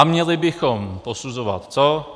A měli bychom posuzovat co?